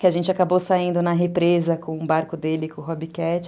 que a gente acabou saindo na represa com o barco dele, com o Hobbit Cat.